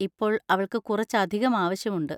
ഇപ്പോൾ അവൾക്ക് കുറച്ച് അധികം ആവശ്യമുണ്ട്.